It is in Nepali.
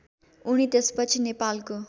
उनी त्यसपछि नेपालको